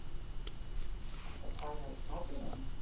Ertu að pæla í smádýrunum?